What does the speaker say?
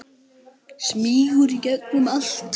Andri: Smýgur í gegnum allt?